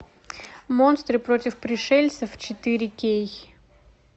монстры против пришельцев четыре кей